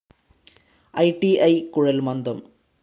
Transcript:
I T I, Kuzhalmandam